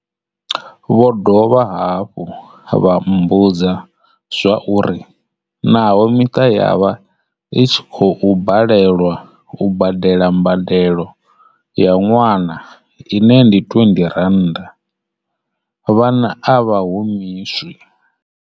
Vho dovha hafhu vha mmbudza zwauri naho miṱa ya vha i tshi khou balelwa u badela mbadelo ya ṅwana ine ndi R20, vhana a vha humiswi.